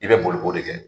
I bɛ boli k'o de kɛ